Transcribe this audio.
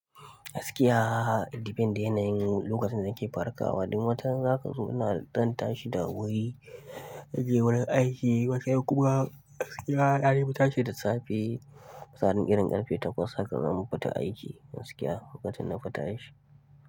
Gaskiya depend ya yanayin lokacin da nake farkawa. Wani watan zaka zo na ɗan tashi da wuri, zanje wurin aiki, wani kuma gaskiya na daifi tashi da safe. Tsakanin irin karfe takwas haka zamu fita aiki gaskiya lokacin nafi tashi.